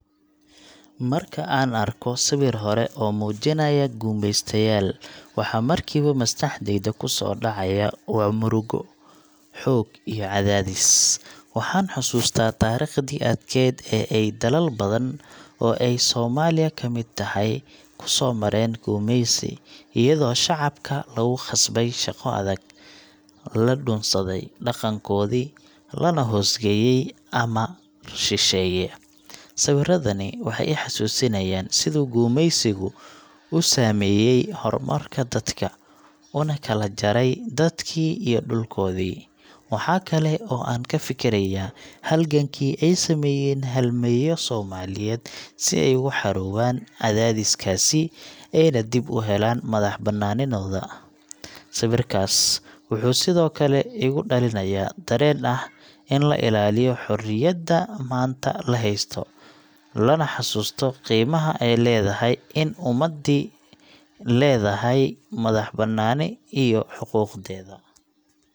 Marka aan arko sawir hore oo muujinaya gumeystayaal, waxa markiiba maskaxdayda ku soo dhacaya waa murugo, xoog iyo cadaadis. Waxaan xasuustaa taariikhdii adkayd ee ay dalal badan, oo ay Soomaaliya ka mid tahay, ku soo mareen gumeysi, iyadoo shacabka lagu khasbay shaqo adag, la dhunsaday dhaqankoodii, lana hoos geeyey amar shisheeye. Sawirradani waxay i xasuusinayaan siduu gumeysigu u saameeyey horumarka dadka, una kala jaray dadkii iyo dhulkoodii. Waxa kale oo aan ka fikirayaa halgankii ay sameeyeen halyeeyo Soomaaliyeed si ay uga xoroobaan cadaadiskaas, ayna dib u helaan madax-bannaanidooda. Sawirkaas wuxuu sidoo kale igu dhalinayaa dareen ah in la ilaaliyo xorriyadda maanta la haysto, lana xasuusto qiimaha ay leedahay in ummadi leedahay madax-bannaani iyo xuquuqdeeda.